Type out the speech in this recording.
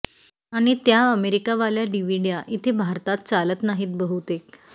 आणि त्या अमेरीकावाल्या डिव्हिड्या इथे भारतात चालत नाहीत बहुतेक